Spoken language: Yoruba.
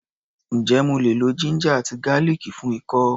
Ǹjé mo lè lo ginger àti garlic fún ikọ́?